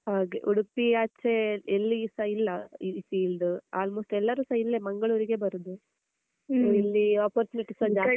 ಹಾಗೆ ಉಡುಪಿ ಆಚೇ ಎಲ್ಲಿ ಸ ಇಲ್ಲ ಈ filed almost ಎಲ್ಲರು ಸ ಮಂಗಳೂರಿಗೆ ಬರುದು, ಇಲ್ಲೀ opportunities ಸ ಜಾಸ್ತಿ.